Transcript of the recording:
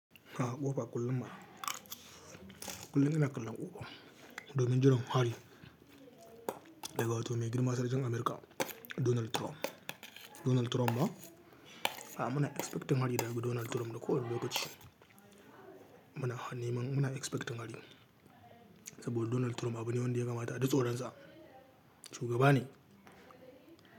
A'a ƙofa kullum ma, kullum ina kallon ƙofa, domin jiɗan hari daga wato mai girma sarkin Amurka Donald Trump. Donald Trump ma a'a muna expecting hari daga Donald Trump na ko wani lokaci. Muna hanimun muna expecting hari saboda Donald Trump abu ne wanda ya kamata a ji tsaron sa shugaba ne.